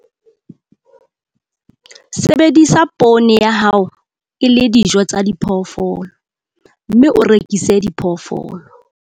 Sebedisa poone ya hao e le dijo tsa diphoofolo, mme o rekise diphoofolo